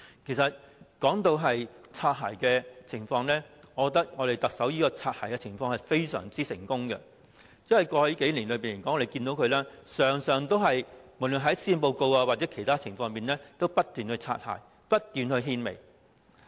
其實，說到"擦鞋"的情況，我覺得特首在"擦鞋"方面非常成功，因為在過去數年，大家可以看到，無論在施政報告或其他事情上，他經常"擦鞋"，不斷獻媚。